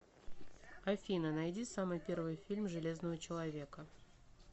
афина найди самый первый фильм железного челвоека